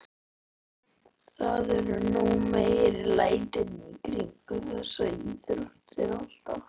Það eru nú meiri lætin í kringum þessar íþróttir alltaf.